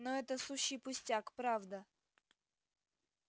но это сущий пустяк правда